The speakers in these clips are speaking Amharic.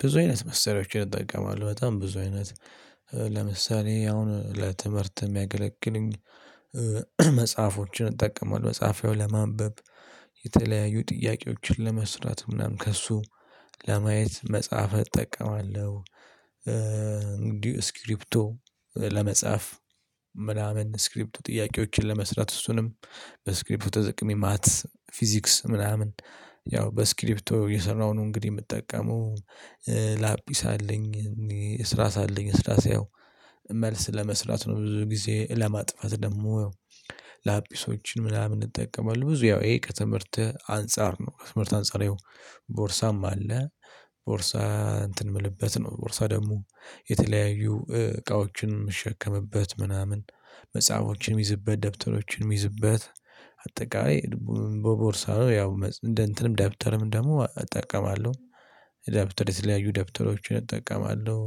ብዙ አይነት መሰሪያዎችን እጠቀማለሁ በጣም ብዙ አይነት ለምሳሌ አሁን ለትምህርት የሚያገለግሉኝ መጽሐፎችን እጠቀማለሁ መጽሐፍ ለማንበብ የተለያዩ ጥያቄዎችን ለመስራት ምናምን ከእሱ ለማየት መጽሐፍ እጠቀማለሁ። እንግዲህ ስክሪፕቶ ለመጻፍ ምናምን ስክሪፕቶ ጥያቄዎችን ለመስራት እሱንም በስክሪፕቶ ተጠቅሜ ማትስ ፊዚክስ ምናምን ያው በስክሪፕቶ የሰራውን እንግዲህ የምጠቀመው ላፒስ አለኝ እኔ እስራስ አለኝ እስራስ ያው መልስ ለመስራት ነው ብዙ ጊዜ ለማጥፋት ደግሞ ያው ላጲሶችን ምናምን እጠቀማለሁ ብዙ ያው ይሄ ከትምህርት አንፃር ነው። ትምህርት አንፃር ያው ቦርሳም አለ ቦርሳ እንትን የምልበት ነው ቦርሳ ደግሞ የተለያዩ እቃዎችን የምሸከምበት ምናምን መጽሐፎችንም ምይዝበት ደብተሮችንም ምይዝበት አጠቃላይ በቦርሳው ያው እንደ እንትንም ደብተርም ደግሞ እጠቀማለሁ። ደብተር የተለያዩ ደብተሮችን እጠቀማለሁ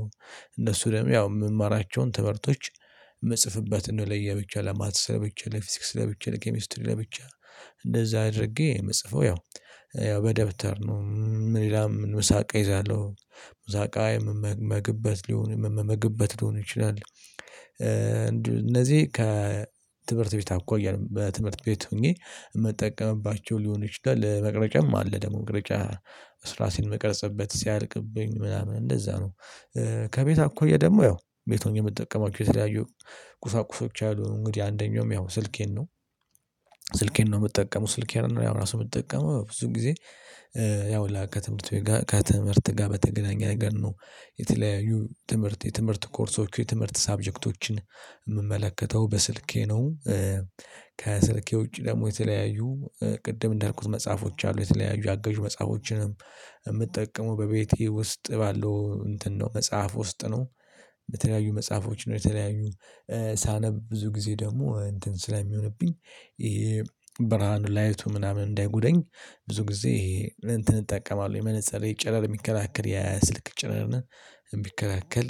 እነሱ ደግሞ ያው የምማራቸውን ትምህርቶች የምጽፍበትን ለየብቻ ለማትስ ለብቻ ለፊዚክስ ለብቻ ለኬሚስትሪ ለብቻ እንደዛ አድርጌ ምጽፈው ያው ያው በደብተር ነው። ምን ሌላም ምሳቃ እይዛለሁ ምሳቃ ምመገብበት ሊሆን ምመገብበት ሊሆን ይችላል እነዚህ ከትምህርት ቤት አኳያ በትምህርት ቤት ሆኜ የምጠቀምባቸው ሊሆኑ ይችላል። መቅረጫም አለ ደግሞ መቅረጫ እስራስ የምቀርጽበት ሲያልቅብኝ ምናምን እንደዛ ነው። ከቤት አኳያ ደግሞ ያው ቤት ሆኜ የምጠቀማቸው የተለያዩ ቁሳቁሶች አሉ እንግዲህ አንደኛውም ያው ስልኬን ነው ስልኬን ነው የምጠቀመው ስልኬን ነው ያው ራሱ የምጠቀመው ብዙ ጊዜ። ያው ላክ ከትምህርት ቤት ጋር ከትምህርት ጋር በተገናኘ ነገር ነው የተለያዩ ትምህርት የትምህርት ኮርሶች የትምህርት ሰሳብጀክቶችን የምመለከተው በስልኬ ነው። ከስልኬ ውጪ ደግሞ የተለያዩ ቅድም እንዳልኩት መጽሐፎች አሉ የተለያዩ አገዥ መጽሐፎችንም የምጠቀመው በቤቴ ውስጥ ባለው እንትን ነው መጽሐፍ ውስጥ ነው። የተለያዩ መጽሐፎች ነው የተለያዩ ሳነብ ብዙ ጊዜ ደግሞ እንትን ስለሚሆንብኝ ይሄ ብርሃኑ ላይቱ ምናምን እንዳይጉዳኝ ብዙ ጊዜ እንትን እጠቀማለሁ የመነፅሬ ጨረር የሚከላከል የስልክ ጨረርን የሚከላከል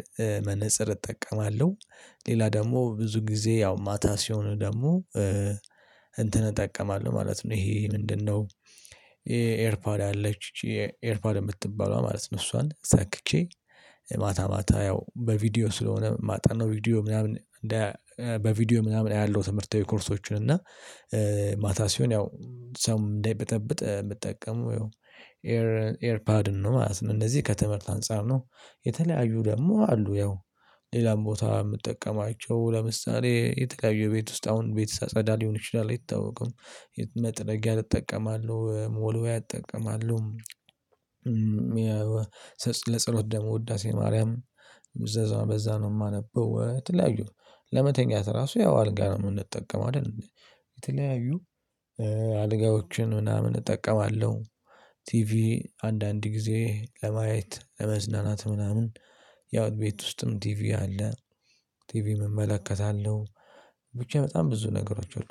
መነፅር እጠቀማለሁ። ሌላ ደግሞ ብዙ ጊዜ ያው ማታ ሲሆን ደግሞ እንትን እጠቀማለሁ ማለት ነው። ይሄ ምንድነው? ኤርፓድ አለች ኤርፓድ የምትባለዋ ማለት ነው። እሷን ሰክቼ ማታ ያው በቪዲዮ ስለሆነ ማጠናው ቪዲዮ ምናምን በቪዲዮ ምናምን አያለው። ትምህርታዊ ኮርሶችን እና ማታ ሲሆን ያው ሰው እንዳይብጠብጥ ምጠቀመው ይኸው ኤር ኤርፓድ ነው ማለት ነው። እነዚህ ከትምህርት አንፃር ነው የተለያዩ ደግሞ አሉ ያው ሌላም ቦታ የምጠቀማቸው ለምሳሌ የተለያየ ቤት ውስጥ አሁን ቤት ሳጸዳ ሊሆን ይችላል አይታወቅም። መጥረግያ እጠቀማለው ሞልዌያ እጠቀማለው። ለጸሎት ደግሞ ውዳሴ ማርያም በዛ ነው የማነበው። የተለያዩ ለመተኛት ራሱ ያው አልጋ ነው የምንጠቀመው አይደል? የተለያዩ አልጋዎችን ምናምን እጠቀማለሁ። ቲቪ አንዳንድ ጊዜ ለማየት ለመዝናናት ምናምን ያው ቤት ውስጥም ቲቪ አለ ቲቪ እመለከታለሁ። ብቻ በጣም ብዙ ነገሮች አሉ።